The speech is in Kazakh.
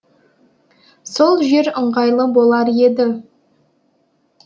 сол жер ыңғайлы болар еді